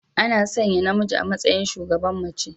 Ana sanya namiji a matsayin shugaban mace.